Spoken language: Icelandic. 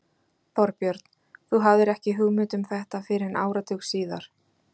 Þorbjörn: Þú hafðir ekki hugmynd um þetta fyrr en áratug síðar?